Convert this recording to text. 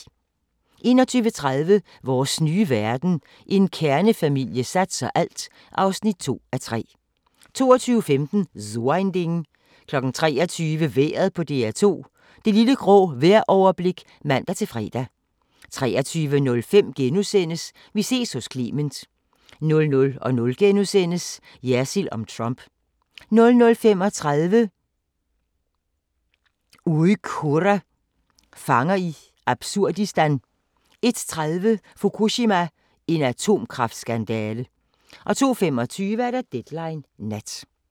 21:30: Vores nye verden – En kernefamilie satser alt (2:3) 22:15: So ein Ding 23:00: Vejret på DR2 – Det lille grå vejroverblik (man-fre) 23:05: Vi ses hos Clement * 00:00: Jersild om Trump * 00:35: Uyghurer – fanger i absurdistan 01:30: Fukushima – en atomkraftskandale 02:25: Deadline Nat